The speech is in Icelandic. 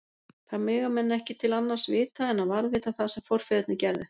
Þar mega menn ekki til annars vita en að varðveita það sem forfeðurnir gerðu.